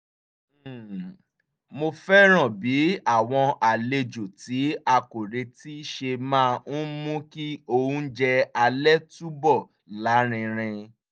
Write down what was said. um mo fẹ́ràn bí àwọn àlejò tí a kò retí ṣe máa ń mú kí oúnjẹ alẹ́ túbọ̀ lárinrin